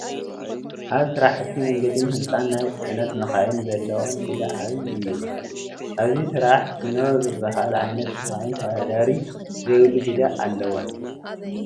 ኣብ ስራሕቲ መንገድን ህንፃን ናይ ፅዕነት መኻይን ዘለወን ግደ ዓብዪ እዩ፡፡ ኣብዚ ስራሕ ሲኖ ዝበሃላ ዓይነት መኻይን ተወዳዳሪ ዘይብሉ ግደ ኣለወን፡፡